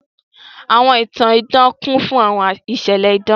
Àwọn ìtan-ìdan kùn fùn àwọn ìṣẹ̀lẹ̀ ìdan.